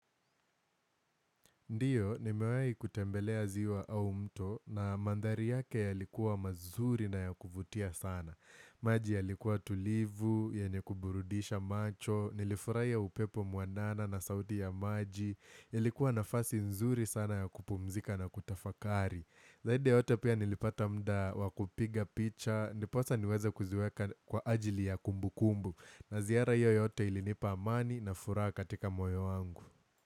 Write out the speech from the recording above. Ndiyo, nimewahi kutembelea ziwa au mto na mandhari yake yalikuwa mazuri na yakuvutia sana. Maji yalikuwa tulivu, yenye kuburudisha macho, nilifurahia upepo muanana na sauti ya maji, ilikuwa nafasi nzuri sana ya kupumzika na kutafakari. Zaidi ya yote pia nilipata muda wa kupiga picha, ndiposa niweze kuziweka kwa ajili ya kumbukumbu. Na ziara hio yote ilinipa amani na furaha katika moyo wangu.